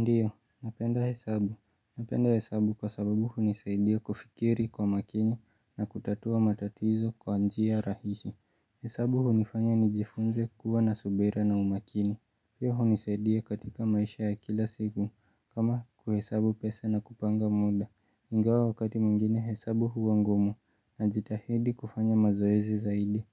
Ndiyo, napenda hesabu, napenda hesabu kwa sababu hunisaidia kufikiri kwa makini na kutatua matatizo kwa njia rahisi, hesabu hunifanya nijifunze kuwa na subira na umakini Pia hunisaidia katika maisha ya kila siku kama kuhesabu pesa na kupanga muda, ingawa wakati mwingine hesabu huwa ngumu najitahidi kufanya mazoezi zaidi,